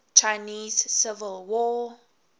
chinese civil war